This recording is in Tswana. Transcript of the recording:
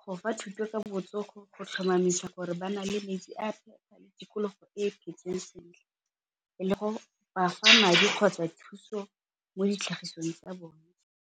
go fa thuto ka botsogo go tlhomamisa gore ba na le metsi bafa madi kgotsa thuso mo ditlhagisong tsa bone.